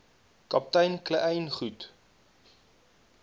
kaptein kleyn goed